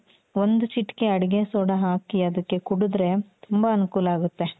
ಒಂದು ಚಿಟಕೆ ಅಡಿಗೆಸೋಡಾ ಹಾಕಿ ಅದಕ್ಕೆ ಕುಡ್ದ್ರೆ ತುಂಬಾ ಅನುಕೂಲ ಆಗುತ್ತೆ .